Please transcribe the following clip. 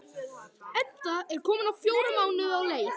Edda er komin fjóra mánuði á leið.